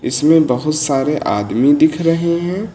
इसमें बहुत सारे आदमी दिख रहे हैं।